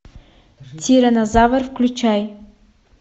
тиранозавр включай